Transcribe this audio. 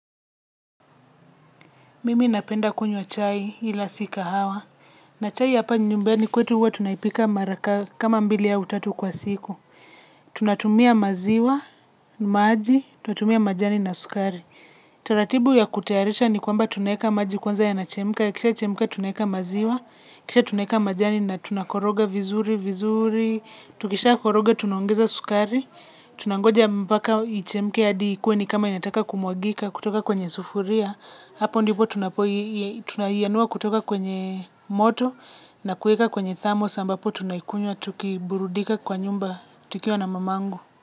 Mimi napenda kunywa chai ila si kahawa. Na chai hapa nyumbani kwetu huwa tunaipika mara kama mbili au tatu kwa siku. Tunatumia maziwa, maji, tunatumia majani na sukari. Taratibu ya kutayarisha ni kwamba tunaeka maji kwanza yanachemka. Ikishachemka tunaeka maziwa, kisha tunaeka majani na tunakoroga vizuri, vizuri. Tukishakoroga tunaongeza sukari. Tunangoja mpaka ichemke hadi ikuwe ni kama inataka kumwagika, kutoka kwenye sufuria. Hapo ndipo tunaianua kutoka kwenye moto na kueka kwenye thermos ambapo tunaikunywa tukiburudika kwa nyumba tukiwa na mamangu.